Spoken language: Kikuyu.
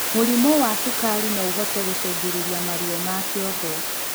Mũrimũ wa cukari noũhote gũcũngĩrĩrĩa maruo ma kĩongo